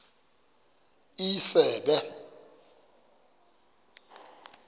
isebe